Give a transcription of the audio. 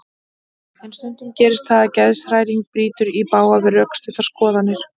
En stundum gerist það að geðshræring brýtur í bága við rökstuddar skoðanir okkar.